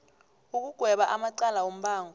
ukugweba amacala wombango